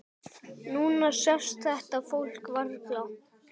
Núna sést þetta fólk varla.